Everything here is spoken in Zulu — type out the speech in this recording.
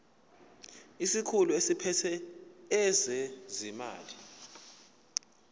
isikhulu esiphethe ezezimali